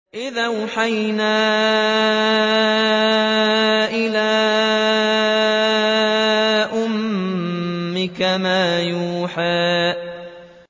إِذْ أَوْحَيْنَا إِلَىٰ أُمِّكَ مَا يُوحَىٰ